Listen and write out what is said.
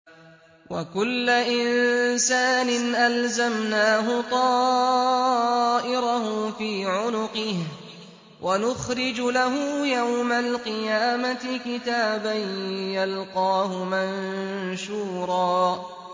وَكُلَّ إِنسَانٍ أَلْزَمْنَاهُ طَائِرَهُ فِي عُنُقِهِ ۖ وَنُخْرِجُ لَهُ يَوْمَ الْقِيَامَةِ كِتَابًا يَلْقَاهُ مَنشُورًا